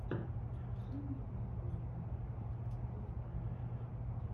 покажи мне марун файв на ютубе